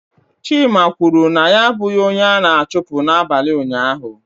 Chima kwuru na ya abụghị onye a na-achụpụ n'abalị ụnyaahụ.